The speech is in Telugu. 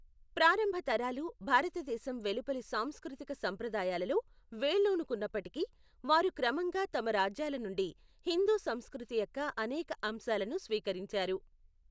ప్రారంభ తరాలు భారతదేశం వెలుపలి సాంస్కృతిక సంప్రదాయాలలో వేళ్ళూనుకున్నప్పటికీ, వారు క్రమంగా తమ రాజ్యాల నుండి హిందూ సంస్కృతి యొక్క అనేక అంశాలను స్వీకరించారు.